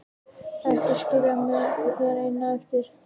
Ekki skilja mig hér eina eftir!